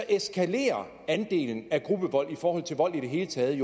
eskalerer andelen af gruppevold i forhold til vold i det hele taget